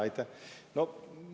Aitäh!